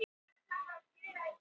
Blandað grænmeti á pönnu